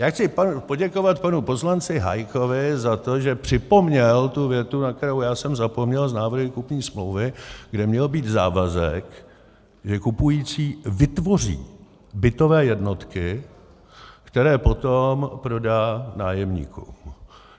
Já chci poděkovat panu poslanci Hájkovi za to, že připomněl tu větu, na kterou já jsem zapomněl, z návrhu kupní smlouvy, kde měl být závazek, že kupující vytvoří bytové jednotky, které potom prodá nájemníkům.